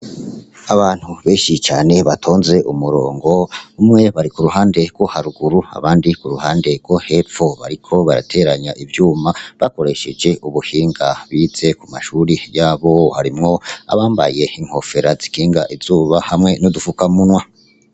Abantu benshi cane batonze umurongo umwe. Bari ku ruhande rwo haruguru abandi ku ruhande rwo hepfo. Bariko barateranya ivyuma bakoresheje ubuhinga bize ku mashuri yabo. Harimwo abambaye inkofera zikinga izuba hamwe n'u dufukamunwa.